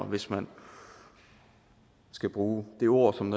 hvis man skal bruge det ord som